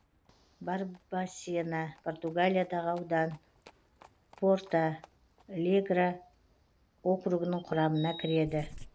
барбасена португалиядағы аудан порталегре округінің құрамына кіреді